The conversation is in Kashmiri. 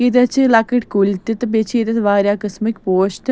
.ییٚتٮ۪تھ چھ لۄکٕٹۍ کُلۍ تہِ تہٕ بیٚیہِ چھ ییٚتٮ۪تھ واریاہ قٔسمٕکۍ پوش تہِ